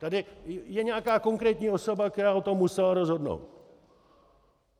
Tady je nějaká konkrétní osoba, která o tom musela rozhodnout.